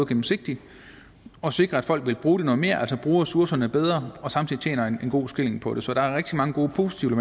gennemsigtigt og sikre at folk vil bruge det noget mere altså bruge ressourcerne bedre og samtidig tjener en god skilling på det så der er rigtig mange gode og positive